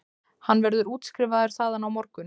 Hann verður útskrifaður þaðan á morgun